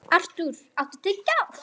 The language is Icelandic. Artúr, áttu tyggjó?